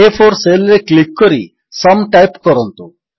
ଆ4 cell ରେ click କରି sum type କରନ୍ତୁ